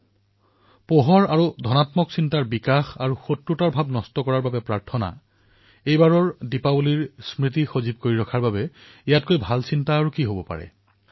এই দিপাৱলীক স্মৰণীয় কৰি ৰখাৰ বাবে ইয়াতকৈ উত্তম চিন্তা আৰু কি হব পাৰে যত আমি প্ৰকাশক ত্বৰান্বিত কৰিব পাৰো ধনাত্মক পৰিবেশৰ বিস্তাৰ কৰিব পাৰো আৰু শত্ৰুতাৰ ভাৱনাক নষ্ট কৰাৰ বাবে প্ৰাৰ্থনা কৰিব পাৰো